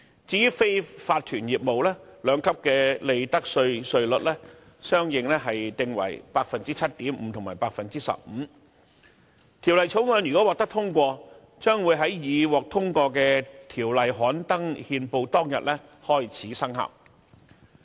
至於非法團業務，兩級利得稅稅率相應訂為 7.5% 和 15%，《條例草案》如果獲得通過，將會在已獲通過的條例刊登憲報當天開始生效。